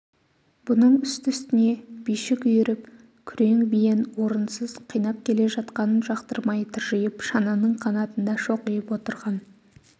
бұның үсті-үстіне бишік үйіріп күрең биен орынсыз қинап келе жатқанын жақтырмай тыржиып шананың қанатында шоқиып отырған